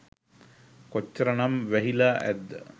කොච්චර නම් වැහිලා ඇද්ද?